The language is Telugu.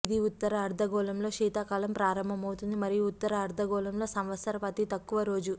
ఇది ఉత్తర అర్ధగోళంలో శీతాకాలం ప్రారంభమవుతుంది మరియు ఉత్తర అర్ధగోళంలో సంవత్సరపు అతి తక్కువ రోజు